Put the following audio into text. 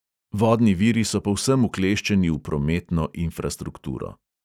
Vodni viri so povsem ukleščeni v prometno infrastrukturo.